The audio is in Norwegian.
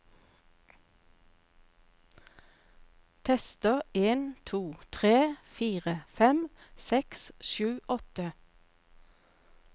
Tester en to tre fire fem seks sju åtte